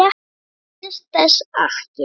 Ég minnist þess ekki.